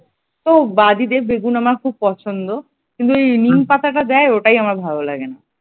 তো বেগুন আমার খুব পছন্দ কিন্তু এই নিম পাতাটা দেয় ওটাই আমার ভালো লাগেনা।